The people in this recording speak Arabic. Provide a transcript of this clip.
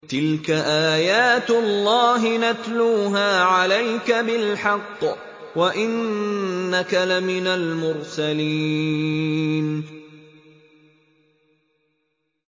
تِلْكَ آيَاتُ اللَّهِ نَتْلُوهَا عَلَيْكَ بِالْحَقِّ ۚ وَإِنَّكَ لَمِنَ الْمُرْسَلِينَ